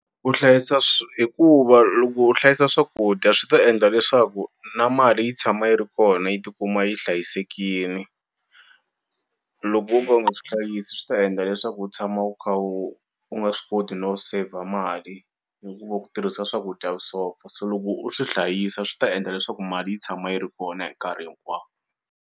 Ku hlayisa hikuva loko u hlayisa swakudya swi ta endla leswaku na mali yi tshama yi ri kona yi ti kuma yi hlayisekile loko o ka u nga swi hlayisi, swi ta endla leswaku u tshama u kha u nga swi koti no save mali hikuva ku tirhisa swakudya vusopfa, so loko u swi hlayisa swi ta endla leswaku mali yi tshama yi ri kona hi nkarhi hinkwawo.